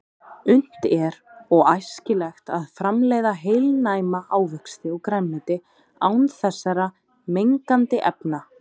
Unnt er og æskilegt að framleiða heilnæma ávexti og grænmeti án þessara mengandi efna.